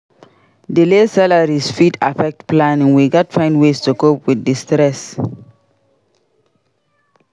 Delayed salaries fit affect planning; we gats find ways to cope with di stress.